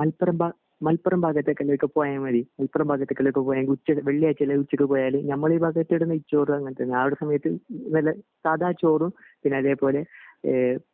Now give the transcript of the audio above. മൽപുരം മലപ്പുറം ഭാഗത്തേക്കെല്ലാം പോയ മതി മലപ്പുറം ഭാഗത്തേക്കെല്ലാം പോയാൽ വെള്ളിയാഴ്ച എല്ലാം ഉച്ചക് പോയാൽ ഞമ്മളെ ഈ ഭാഗത് ഇവിടെ നെയ്‌ച്ചോർ അങ്ങിനത്തെ ഞാൻ അവിടെ സമയത് വല്ല സാധാ ചോറും പിന്നെ അതേപോലെ ഇഹ്